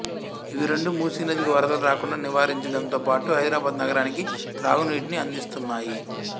ఇవి రెండు మూసీ నదికి వరదలు రాకుండా నివారించడంతోపాటు హైదరాబాదు నగరానికి త్రాగునీటిని అందిస్తున్నాయి